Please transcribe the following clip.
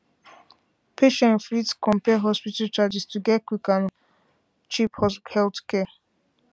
patients fit compare hospital charges to get quick and cheap healthcare